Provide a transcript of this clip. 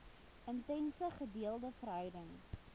intense gedeelde verhouding